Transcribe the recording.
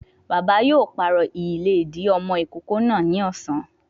Bàbá yóò pàrọ̀ ìlédìí ọmọ ìkókó náà ni ọ̀sán